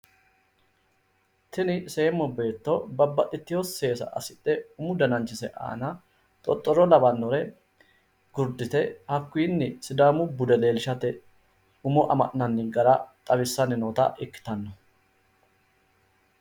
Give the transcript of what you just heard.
Tini seemo beetto babbaxxitewo seesa assidhe umu dananchise aana xoxxoro lawannore gurdite hakkunni sidaamu bude leellishshate umo amaxxinanni gara xawissanni noota ikkitanno.